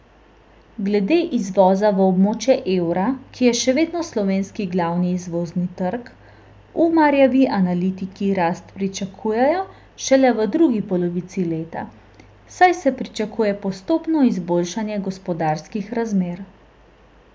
Glede izvoza v območje evra, ki je še vedno slovenski glavni izvozni trg, Umarjevi analitiki rast pričakujejo šele v drugi polovici leta, saj se pričakuje postopno izboljšanje gospodarskih razmer.